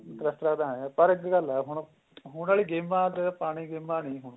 ਤਾਂ ਹੈ ਪਰ ਅੱਜਕਲ ਏ ਹੁਣ ਹੁਣ ਵਾਲੀ ਗੇਮਾ ਤੇ ਪੁਰਾਣੀ ਗੇਮਾ ਨੀਂ ਹੋਣੀ